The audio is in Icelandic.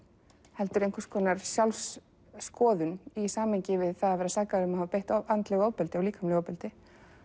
heldur einhvers konar sjálfsskoðun í samhengi við það að vera sakaður um að hafa beitt andlegu ofbeldi og líkamlegu ofbeldi